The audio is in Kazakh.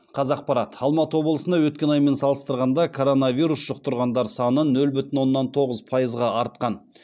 қазақпарат алматы облысында өткен аймен салыстырғанда коронавирус жұқтырғандар саны нөл бүтін оннан тоғыз пайызға артқан